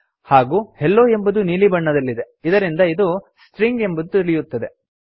ಹಾಗೂ ಹೆಲ್ಲೊ ಎಂಬುದು ನೀಲಿ ಬಣ್ಣದಲ್ಲಿದೆ ಇದರಿಂದ ಇದು ಸ್ಟ್ರಿಂಗ್ ಎಂಬುದು ತಿಳಿಯುತ್ತದೆ